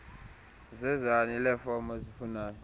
zenani leefomu ozifunanayo